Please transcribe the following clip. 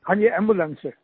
हां जी एम्बुलेंस से